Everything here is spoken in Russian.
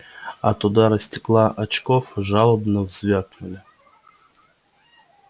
от удара стекла очков жалобно взвякнули